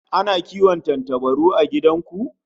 Ana kiwon tantabaru a gidan ku?